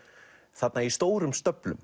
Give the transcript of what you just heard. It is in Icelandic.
þarna í stórum